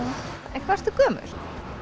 en hvað ertu gömul